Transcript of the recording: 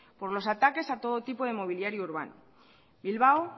por los ataques a todo tipo de inmobiliario urbano bilbao